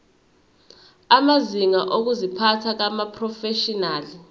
amazinga okuziphatha kumaprofeshinali